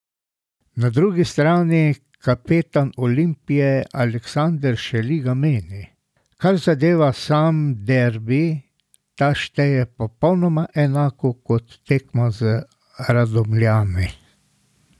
Na drugi strani kapetan Olimpije Aleksander Šeliga meni: 'Kar zadeva sam derbi, ta šteje popolnoma enako kot tekma z Radomljami.